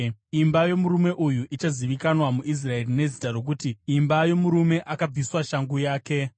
Imba yomurume uyu ichazivikanwa muIsraeri nezita rokuti Imba yoMurume Akabviswa Shangu Yake.